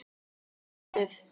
Bara fyndið.